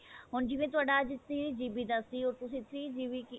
ਹੁਣ ਜਿਵੇਂ ਤੁਹਾਡਾ ਅੱਜ three GB ਦਾ ਸੀ ਉਹ ਤੁਸੀਂ three GB ਕੀ